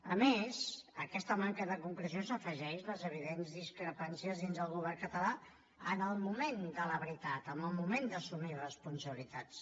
a més a aquesta manca de concreció s’hi afegeixen les evidents discrepàncies dins del govern català en el moment de la veritat en el moment d’assumir responsabilitats